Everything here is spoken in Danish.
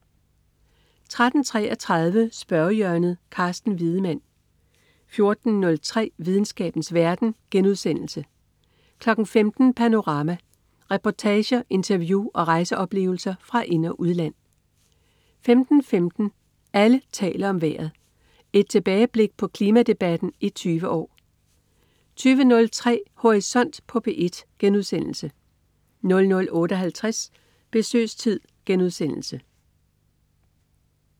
13.33 Spørgehjørnet. Carsten Wiedemann 14.03 Videnskabens verden* 15.00 Panorama. Reportager, interview og rejseoplevelser fra ind- og udland 15.15 Alle taler om vejret. Et tilbageblik på klimadebatten i 20 år 20.03 Horisont på P1* 00.58 Besøgstid*